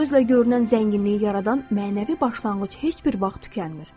Gözlə görünən zənginliyi yaradan mənəvi başlanğıc heç bir vaxt tükənmir.